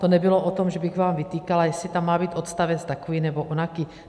To nebylo o tom, že bych vám vytýkala, jestli tam má být odstavec takový nebo onaký.